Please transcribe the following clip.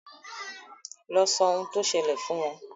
lọ sọ ohun tó sẹlẹ̀ fún wọn